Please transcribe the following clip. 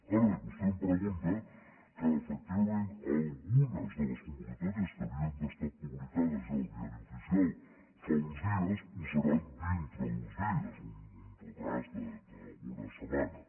ara bé vostè em pregunta que efectivament algunes de les convocatòries que haurien d’haver estat publi cades ja al diari oficial fa uns dies ho seran dintre d’uns dies un retard d’alguna setmana